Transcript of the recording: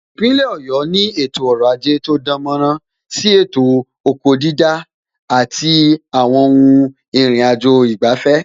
Ipinle Ọ̀yọ́ ni ètò ọrọ̀ ajé tó dánmọ́nrán, pẹ̀lú sí ètò ọ̀gbìn/oko dídá, ètò àti àwọn ohun ìrìnàjò ìgbafẹ́